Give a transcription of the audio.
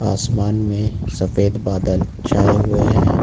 असमान में सफेद बादल छाए हुए हैं।